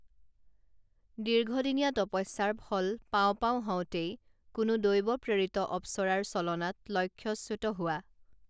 দীৰ্ঘদিনীয়া তপস্যাৰ ফল পাওঁ পাওঁ হওঁতেই কোনো দৈবপ্ৰেৰিত অপ্সৰাৰ ছলনাত লক্ষ্যচ্যুত হোৱা